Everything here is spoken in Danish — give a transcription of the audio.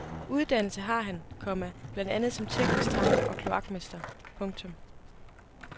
Uddannelse har han, komma blandt andet som teknisk tegner og kloakmester. punktum